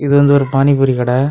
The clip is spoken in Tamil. இது வந்து ஒரு பானி பூரி கடை.